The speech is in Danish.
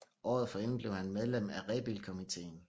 Året forinden blev han medlem af Rebildkomiteen